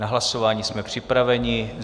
Na hlasování jsme připraveni.